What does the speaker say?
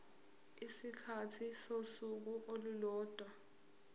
isikhathi sosuku olulodwa